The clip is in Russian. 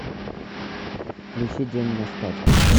включи день на скачках